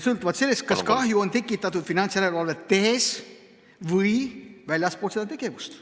... sõltuvalt sellest, kas kahju on tekitatud finantsjärelevalvet tehes või väljaspool seda tegevust.